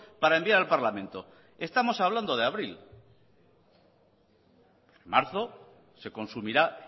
para enviar al parlamento estamos hablando de abril marzo se consumirá